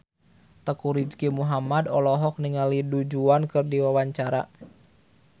Teuku Rizky Muhammad olohok ningali Du Juan keur diwawancara